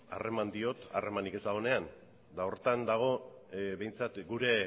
harreman diot harremanik ez dagonean eta horretan dago behintzat gure